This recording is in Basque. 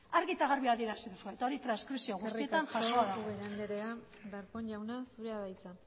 argi eta garbi adierazi duzue eta hori transkripzio guztietan jasota dago eskerrik asko ubera andrea darpón jauna zurea da hitza